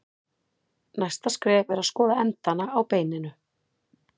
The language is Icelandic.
Næsta skref er að skoða endana á beininu.